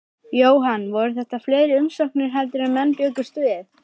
Jóhann, voru þetta fleiri umsóknir heldur en menn bjuggust við?